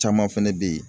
Caman fɛnɛ bɛ ye